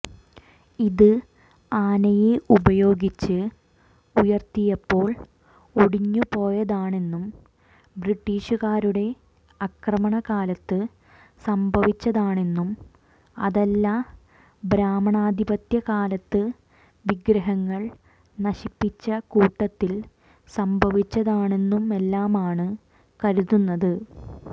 ഇത് ആനയെ ഉപയോഗിച്ച് ഉയർത്തിയപ്പോൾ ഒടിഞ്ഞുപോയതാണെന്നും ബ്രിട്ടീഷുകാരുടെ ആക്രമണകാലത്ത് സംഭവിച്ചതാണെന്നും അതല്ല ബ്രാഹ്മണാധിപത്യക്കാലത്ത് വിഗ്രഹങ്ങൾ നശിപ്പിച്ച കൂട്ടത്തിൽ സംഭവിച്ചതാണെന്നുമെല്ലാമാണ് കരുതുന്നത്